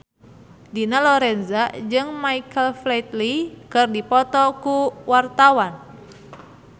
Dina Lorenza jeung Michael Flatley keur dipoto ku wartawan